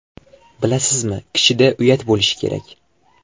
Bilasizmi, kishida uyat bo‘lishi kerak.